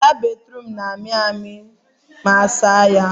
Ala Bathroom na amị amị ma asa ha arụ